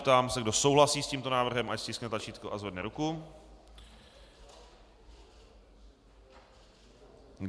Ptám se, kdo souhlasí s tímto návrhem, ať stiskne tlačítko a zvedne ruku.